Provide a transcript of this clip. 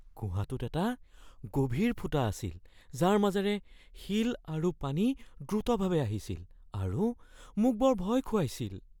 গুহাটোত এটা গভীৰ ফুটা আছিল যাৰ মাজেৰে শিল আৰু পানী দ্ৰুতভাৱে আহিছিল আৰু মোক বৰ ভয় খুৱাইছিল।